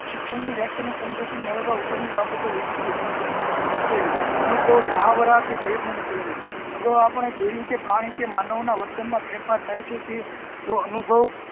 શિક્ષણ ની વ્યાખ્યા ને સમજૂતી મેળવવા ઉપરની બાબતો વિધિકીય સમજીએ પહેલું અનુભવ મહવરા કે પ્રયત્નો નું પરિણામ. અગાઉ આપણે જોયુ કે પ્રાણી કે માનવ ના વર્તન મા ફેરફાર થાય છે તે જો અનુભવ